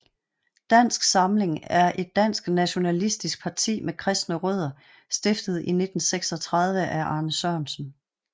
Dansk Samling er et dansk nationalistisk parti med kristne rødder stiftet i 1936 af Arne Sørensen